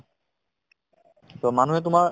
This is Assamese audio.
so, মানুহে তোমাৰ